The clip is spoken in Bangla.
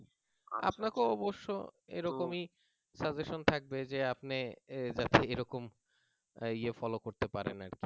আপনাকেও অবশ্য এরকমই suggestion থাকবে যে আপনি এরকম ইয়া follow করতে পারেন আরকি